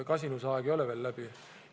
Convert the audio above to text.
Kasinusaeg ei ole läbi.